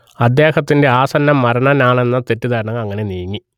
അദ്ദേഹത്തിന്റെ ആസന്നമരണനാണെന്ന തെറ്റിദ്ധാരണകൾ അങ്ങനെ നീങ്ങി